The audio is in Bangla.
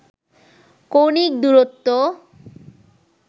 কৌণিক দুরত্ব